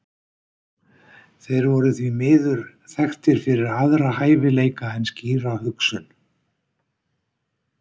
þeir voru því miður þekktir fyrir aðra hæfileika en skýra hugsun